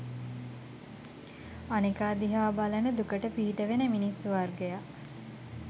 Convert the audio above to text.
අනෙකා දිහා බලන දුකට පිහිට වෙන මිනිස්සු වර්ගයක්